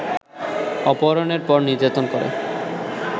অপহরণের পর নির্যাতন করে